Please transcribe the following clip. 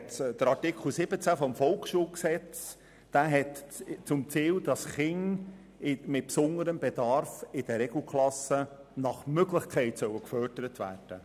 Artikel 14 VSG hat zum Ziel, dass Kinder mit besonderem Bedarf nach Möglichkeit in den Regelklassen gefördert werden.